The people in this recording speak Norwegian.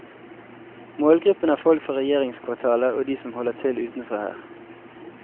Målgruppen er folk fra regjeringskvartalet og de som holder til utenfor her.